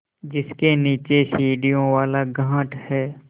जिसके नीचे सीढ़ियों वाला घाट है